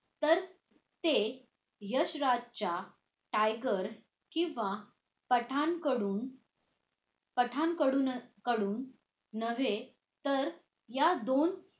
तर ते यश राजच्या tiger किंवा पठाण कडुन पठाण कडुनच कडू नव्हे तर या दोन